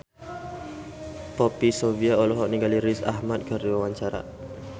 Poppy Sovia olohok ningali Riz Ahmed keur diwawancara